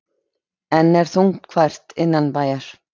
Enn er þungfært innanbæjar